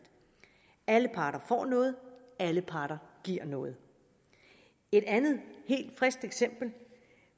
alle parter får noget alle parter giver noget et andet helt frisk eksempel